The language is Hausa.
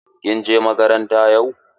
Kin je makaranta yau?